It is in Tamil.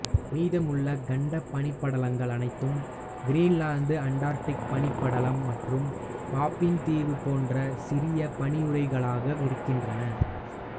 மீதமுள்ள கண்ட பனிப்படலங்கள் அனைத்தும் கிரீன்லாந்து அண்டார்டிக் பனிப் படலம் மற்றும் பாஃபின் தீவு போன்ற சிறிய பனியுறைவுகளாக இருக்கின்றன